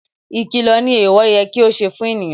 Ìkìlọ̀ ni ẹ̀ẹ̀wọ̀ yẹ kí ó ṣe fún ènìyàn